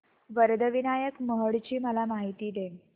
वरद विनायक महड ची मला माहिती दे